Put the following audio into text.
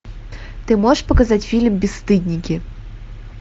ты можешь показать фильм бесстыдники